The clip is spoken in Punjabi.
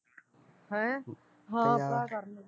ਹੈਂ ਉਹ ਤਾਂ ਕਰਨਗੇ